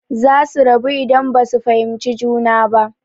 Zasu rabu idan basu fahimci juna ba.